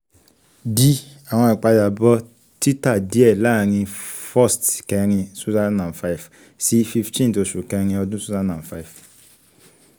d awọn ipadabọ tita diẹ laarin first kẹrin two thousand and five si fifteen oṣu kẹrin ọdun two thousand and five